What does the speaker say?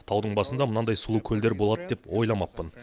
таудың басында мынадай сұлу көлдер болады деп ойламаппын